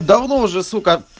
давно уже сука